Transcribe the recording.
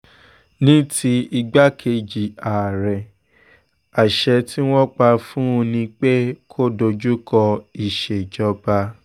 ní ti igbákejì àárẹ̀ àṣẹ tí wọ́n pa fún un ni pé kó dojú kọ ìṣèjọba